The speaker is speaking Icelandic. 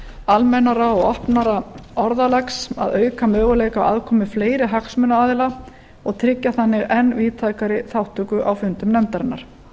almennara og opnara orðalags að auka möguleika á aðkomu fleiri hagsmunaaðila og tryggja þannig enn víðtækari þátttöku á fundum nefndarinnar